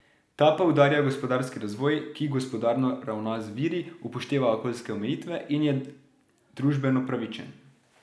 Ta poudarja gospodarski razvoj, ki gospodarno ravna z viri, upošteva okoljske omejitve in je družbeno pravičen.